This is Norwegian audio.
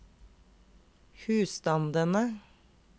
husstandene